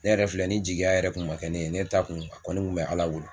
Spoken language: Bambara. Ne yɛrɛ filɛ ni jigiya yɛrɛ kun makɛ ne ye ne t'a kun a kɔni kun bɛ Ala bolo